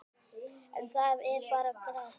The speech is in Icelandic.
En það er bara grátt.